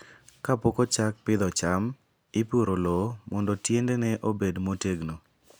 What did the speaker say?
Kapok ochak pidho cham, ipuro lowo mondo tiendene obed motegno.